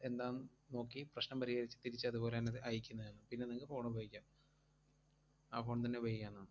എന്താന്ന് നോക്കി പ്രശ്നം പരിഹരിച്ച് തിരിച്ചതുപോലന്നത് അയക്കുന്നയാണ്. പിന്നെ നിങ്ങക്ക് phone ഉപയോഗിക്കാം. ആ phone തന്നെ ഉപയോഗിക്കാവുന്നതാണ്.